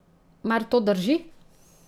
Mar to drži?